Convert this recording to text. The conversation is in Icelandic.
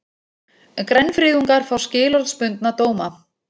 Grænfriðungar fá skilorðsbundna dóma